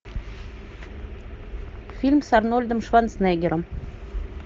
фильм с арнольдом шварценеггером